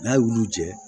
N'a y'olu jɛ